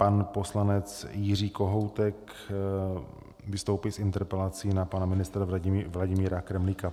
Pan poslanec Jiří Kohoutek vystoupí s interpelací na pana ministra Vladimíra Kremlíka.